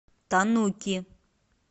тануки